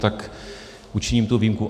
Tak učiním tu výjimku.